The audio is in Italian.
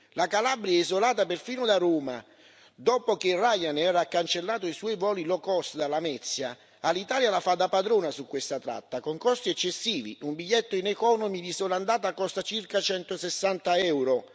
La Calabria è isolata perfino da Roma, dopo che Ryanair ha cancellato i suoi voli low cost da Lamezia, Alitalia la fa da padrona su questa tratta, con costi eccessivi un biglietto in economy di sola andata costa circa 160 euro.